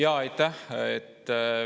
Aitäh!